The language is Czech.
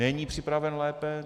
Není připraven lépe.